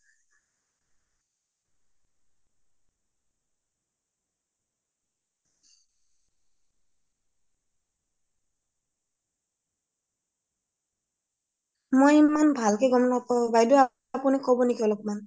মই ইমান ভালকে গম নাপাও বাইদেউ আপুনি কব নেকি অলমান